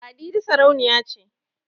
Ladidi sarauniya ce